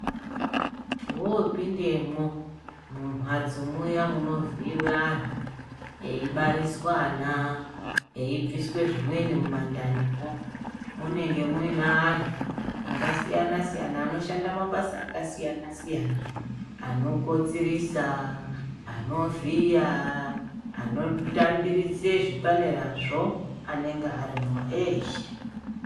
Wopindemwo mumhatso muya munovhiyiwa anthu ,mweibariswa ana eibviswe zvimwebi mundanimwo, munenge mune anthu akasiyana siyana ,achiita mabasa akasiyana siyana vamweni vanovhiya ,vanokotsirisa vamweni vanobvisa zvavanobvisa mundani ,vamweni nevanotambirisa zvipanerazvo vanenge varimwo eshe.